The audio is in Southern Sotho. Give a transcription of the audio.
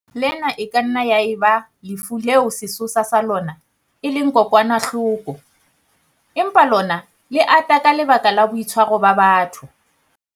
Lena e ka nna ya eba lefu leo sesosa sa lona e leng kokwanahloko, empa lona le ata ka lebaka la boitshwaro ba batho.